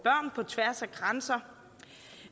tværs af grænser